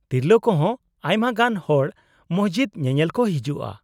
-ᱛᱤᱨᱞᱟᱹ ᱠᱚ ᱦᱚᱸ ᱟᱭᱢᱟ ᱜᱟᱱ ᱦᱚᱲ ᱢᱚᱥᱡᱤᱫ ᱧᱮᱧᱮᱞ ᱠᱚ ᱦᱤᱡᱩᱜᱼᱟ ᱾